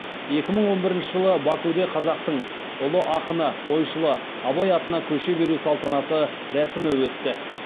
екі мың он бірінші жылы бакуде қазақтың ұлы ақыны ойшылы абай атына көше беру салтанатты рәсімі өтті